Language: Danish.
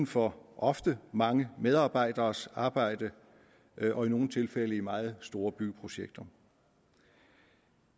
for ofte mange medarbejderes arbejde og i nogle tilfælde i meget store byggeprojekter